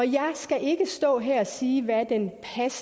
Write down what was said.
jeg skal ikke stå her og sige hvad